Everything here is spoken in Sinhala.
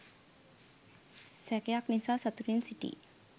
සැකයක් නිසා සතුටින් සිටි